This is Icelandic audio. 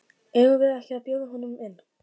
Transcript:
Eigum við ekki að bjóða honum inn?